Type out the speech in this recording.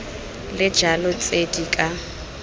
le jalo tse di ka